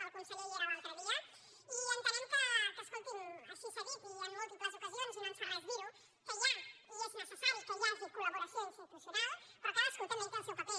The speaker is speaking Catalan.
el conseller hi era l’altre dia i entenem que escolti’m així s’ha dit i en múltiples ocasions i no ens fa res dir ho hi ha i és necessari que hi hagi col·laboració institucional però cadascú també hi té el seu paper